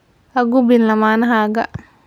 Ha gubin lamaanahaaga.